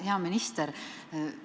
Hea minister!